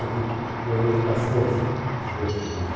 Eu vi com eles bastante dos meus filhos.